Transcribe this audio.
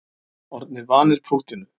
Orðnir vanir prúttinu